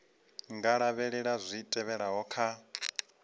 nga lavhelela zwi tevhelaho kha